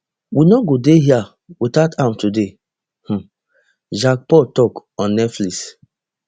we no go dey hia without am today um jake paul tok on netflix